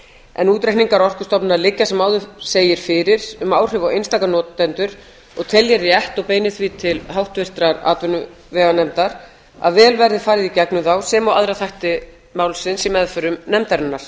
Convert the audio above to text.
en útreikningar orkustofnunar liggja sem áður segir um áhrif á einstaka notendur og tel ég rétt og beini því til háttvirtrar atvinnuveganefndar að vel verði farið í gegnum þá sem og aðra þætti málsins í meðförum nefndarinnar